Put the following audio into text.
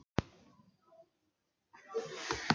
Ég læt hann vita, að við höfum lokið máli okkar.